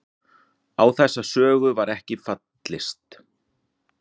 Á þessa sögu var ekki fallist